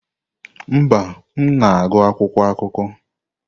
Mba, m na-agụ akwụkwọ akụkọ.